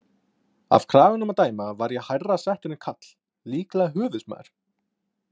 Af kraganum að dæma var ég hærra settur en Karl, líklega höfuðsmaður.